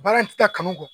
Baara ti taa kanu kɔ